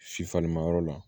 Si falenmayɔrɔ la